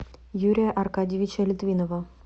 юрия аркадьевича литвинова